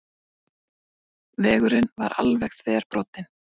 Vængurinn var alveg þverbrotinn